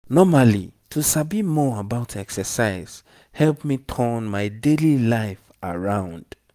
normally to sabi more about exercise help me turn my daily life around.